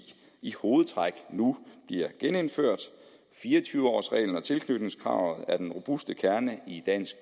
i hovedtræk nu bliver genindført fire og tyve års reglen og tilknytningskravet er den robuste kerne i dansk